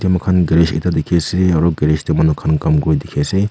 etu mukha garage ekta dikhi asey aro garage deh manu khan kam kur dikhi asey.